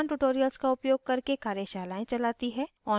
spoken tutorials का उपयोग करके कार्यशालाएं चलाती है